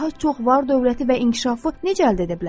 Daha çox var dövləti və inkişafı necə əldə edə bilərəm?